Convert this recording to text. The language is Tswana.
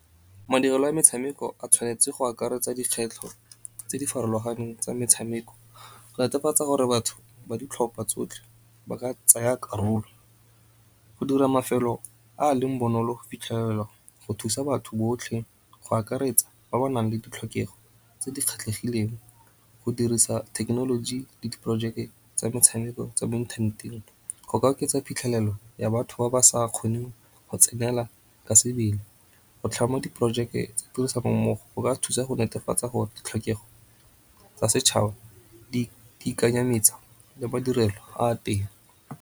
Madirelo a metshameko a tshwanetse go akaretsa dikgwetlho tse di farologaneng tsa metshameko, go netefatsa gore batho ba ditlhopha tsotlhe ba ka tsaya karolo. Go dira mafelo a leng bonolo go fitlhelelwa go thusa batho botlhe go akaretsa ba ba nang le ditlhokego tse di kgetlhegileng. Go dirisa thekenoloji le di porojeke tsa metshameko tsa mo inthaneteng go ka oketsa phitlhelelo ya batho ba ba sa kgoneng go tsenela ka sebele. Go tlhama di porojeke tsa tirisanommogo go ka thusa go netefatsa gore ditlhokega tsa setšhaba di le madirelo a teng.